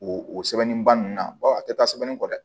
O o sɛbɛnni ba ninnu na a tɛ taa sɛbɛnni kɔ dɛ